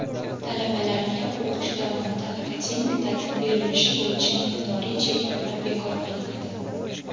talabalarga o‘qish davomida akademik ta’til berilishi bo‘yicha miqdoriy cheklovlar bekor qilinadi;.